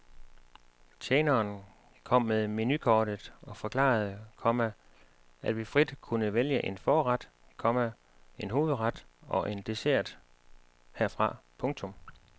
Tjeneren kom med menukortet og forklarede, komma at vi frit kunne vælge en forret, komma en hovedret og en dessert herfra. punktum